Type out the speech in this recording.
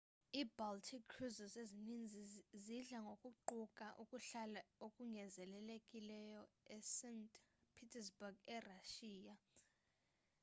i-baltic cruises ezininzi zidla ngokuquka ukuhlala okongezelelekileyo e-st petersburg erashiya